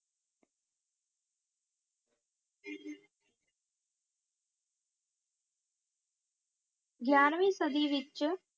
ਗਿਆਰਵੀਂ ਸਦੀ ਵਿੱਚ